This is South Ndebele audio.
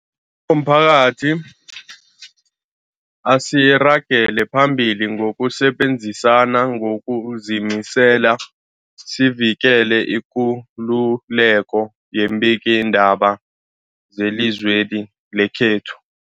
omphakathi, asiragele phambili ngokusebenzisana ngokuzimisela sivikele ikululeko yeembikiindaba zelizwe li lekhethu.